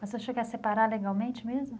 Mas o senhor quer separar legalmente mesmo?